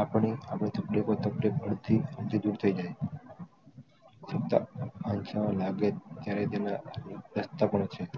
આપણે હવે દૂર થયી જાય જયારે તેના સસ્તા પણ છે